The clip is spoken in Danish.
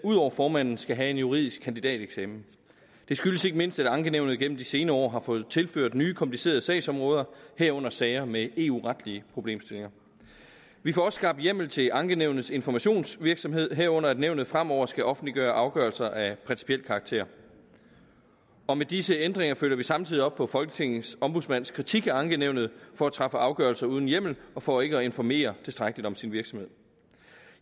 ud over formanden skal have en juridisk kandidateksamen det skyldes ikke mindst at ankenævnet gennem de senere år har fået tilført nye komplicerede sagsområder herunder sager med eu retlige problemstillinger vi får også skabt hjemmel til ankenævnets informationsvirksomhed herunder at nævnet fremover skal offentliggøre afgørelser af principiel karakter og med disse ændringer følger vi samtidig op på folketingets ombudsmands kritik af ankenævnet for at træffe afgørelser uden hjemmel og for ikke at informere tilstrækkeligt om sin virksomhed